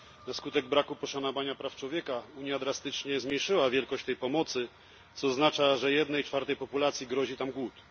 Na skutek braku poszanowania praw człowieka Unia drastycznie zmniejszyła wielkość tej pomocy, co oznacza, że jednej czwartej populacji grozi tam głód.